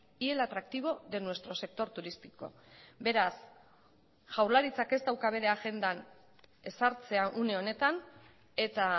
y el atractivo de nuestro sector turístico beraz jaurlaritzak ez dauka bere agendan ezartzea une honetan eta